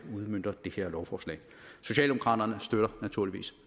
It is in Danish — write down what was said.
udmønter det her lovforslag socialdemokraterne støtter naturligvis